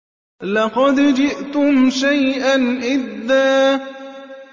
لَّقَدْ جِئْتُمْ شَيْئًا إِدًّا